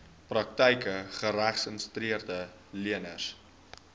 praktyke geregistreede leners